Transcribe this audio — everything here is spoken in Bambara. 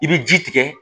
I bɛ ji tigɛ